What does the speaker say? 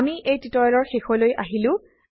আমি এই টিউটোৰিয়েলৰ শেষলৈ আহিছো